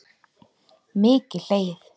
Mikið hlegið.